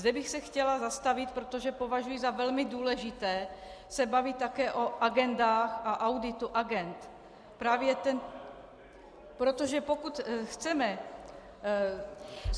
- Zde bych se chtěla zastavit, protože považuji za velmi důležité se bavit také o agendách a auditu agend, protože pokud chceme schválit -